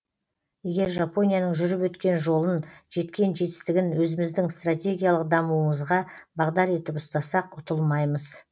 егер жапонияның жүріп өткен жолын жеткен жетістігін өзіміздің стратегиялық дамуымызға бағдар етіп ұстасақ ұтылмаймыз